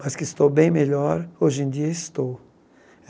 Mas que estou bem melhor, hoje em dia estou.